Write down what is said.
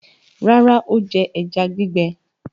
Rárá, ó jẹ ẹja gbígbẹ.